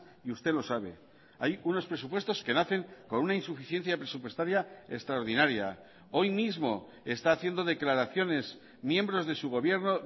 y usted lo sabe hay unos presupuestos que nacen con una insuficiencia presupuestaria extraordinaria hoy mismo está haciendo declaraciones miembros de su gobierno